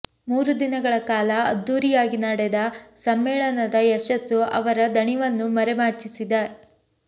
ಮೂರು ದಿನಗಳ ಕಾಲ ಅದ್ದೂರಿಯಾಗಿ ನಡೆದ ಸಮ್ಮೇಳನದ ಯಶಸ್ಸು ಅವರ ದಣಿವನ್ನೂ ಮರೆಮಾಚಿಸಿದೆ